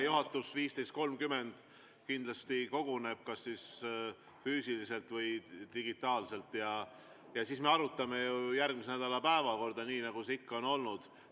Juhatus kell 15.30 kindlasti koguneb kas füüsiliselt või digitaalselt ja siis me arutame järgmise nädala päevakorda, nii nagu see ikka on olnud.